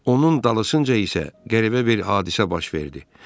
Onun dalısınca isə qəribə bir hadisə başladı.